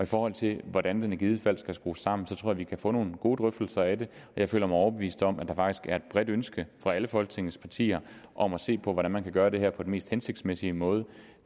forhold til hvordan den i givet fald skal skrues sammen tror jeg at vi kan få nogle gode drøftelser af det og jeg føler mig overbevist om at der faktisk er et bredt ønske fra alle folketingets partier om at se på hvordan man kan gøre det her på den mest hensigtsmæssige måde